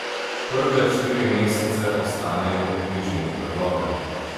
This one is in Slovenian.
Prve štiri mesece ostanejo v bližini brloga.